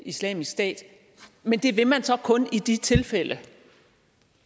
islamisk stat men det vil man så kun i de tilfælde